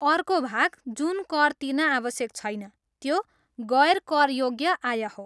अर्को भाग जुन कर तिर्न आवश्यक छैन त्यो गैर करयोग्य आय हो।